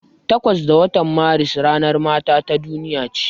Takwas ga watan Maris ranar mata ta duniya ce.